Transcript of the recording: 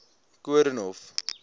koornhof